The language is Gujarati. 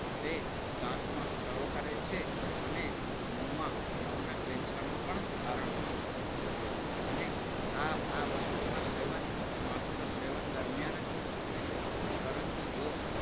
તે દાંતમાં સડો કરે છે. અને મોંમાં મોના કેન્સરનું પણ કારણ બનતો હોય છે. અને આ આ વસ્તુના સેવન માત્ર સેવન દરમિયાન જ નુકસાન નહીં પરંતુ જો